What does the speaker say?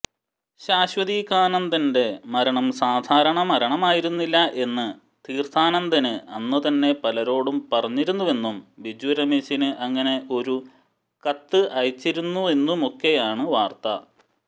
ശാശ്വതീകാനന്ദന്റെ മരണം സാധാരണ മരണമായിരുന്നില്ല എന്ന് തീര്ത്ഥാനന്ദന് അന്നുതന്നെ പലരോടും പറഞ്ഞിരുന്നുവെന്നും ബിജുരമേശിന് അങ്ങനെ ഒരു കത്ത് അയച്ചിരുന്നുവെന്നുമൊക്കെയാണ് വാര്ത്ത